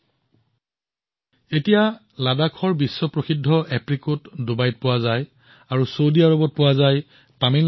এতিয়া আপুনি ডুবাই আৰু চৌদি আৰৱত লাডাখৰ বিশ্ববিখ্যাত এপ্ৰিকট তামিলনাডুৰ পৰা প্ৰেৰণ কৰা কলো লাভ পাব